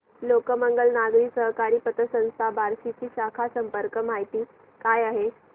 लोकमंगल नागरी सहकारी पतसंस्था बार्शी ची शाखा संपर्क माहिती काय आहे